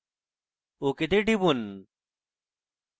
ok তে টিপুন